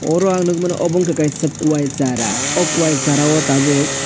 oro ang nogmano obo wngka kaisa kowai sara o kowai sara o tabok.